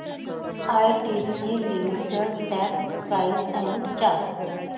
ITC limited stock price and chart